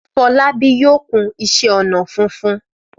Fọlábí yóò kun iṣẹ́-ọnà funfun.